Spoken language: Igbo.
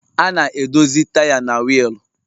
A na-edozi taya na wiil